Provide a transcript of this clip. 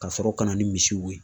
Ka sɔrɔ ka na ni misiw ye.